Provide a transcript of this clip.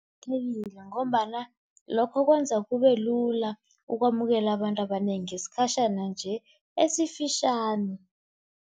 Kuqakathekile ngombana lokho kwenza kube lula ukwamukela abantu abanengi ngesikhatjhana nje esifitjhani.